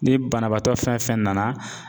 Ni banabaatɔ fɛn fɛn nana